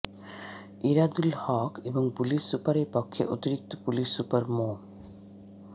এরাদুল হক এবং পুলিশ সুপারের পক্ষে অতিরিক্ত পুলিশ সুপার মো